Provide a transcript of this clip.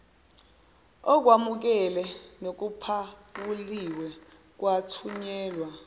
okwemukele nokuphawuliwe kwathunyelwa